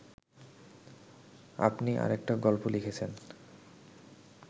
আপনি আরেকটা গল্প লিখেছেন